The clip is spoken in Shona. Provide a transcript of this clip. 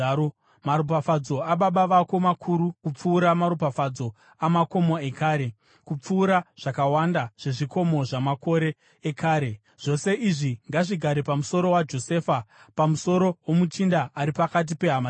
Maropafadzo ababa vako makuru kupfuura maropafadzo amakomo ekare, kupfuura zvakawanda zvezvikomo zvamakore ekare. Zvose izvi ngazvigare pamusoro waJosefa, pamusoro womuchinda ari pakati pehama dzake.